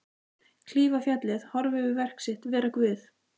Klífa fjallið, horfa yfir verk sitt, vera Guð.